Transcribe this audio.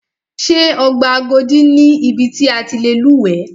Ṣé ọgbà Agodi ni ibi ti a ti lè lúwẹ̀ẹ́.